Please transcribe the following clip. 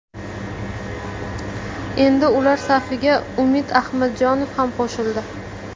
Endi ular safiga Umid Ahmadjonov ham qo‘shildi.